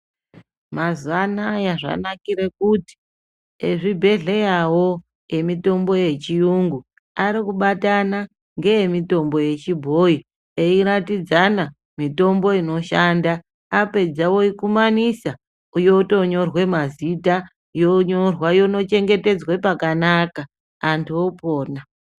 Mazuwanaya zvanakire kuti ezvibhedhleravo emitombo yechiyungu ari kubatana ngeemutombo yechibhoyi eyiratidzana mitombo inoshanda apedza oikumanisa apedza oyipa mazita yonyorwa yotochengetedzwa pakanaka antu opona.